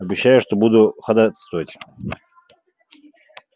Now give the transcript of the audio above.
обещаю что буду ходатайствовать